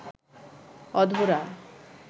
অধরা